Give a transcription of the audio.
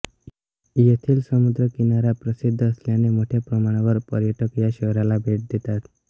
येथील समुद्र किनारा प्रसिद्ध असल्याने मोठ्याप्रमाणावर पर्यटक या शहराला भेट देतात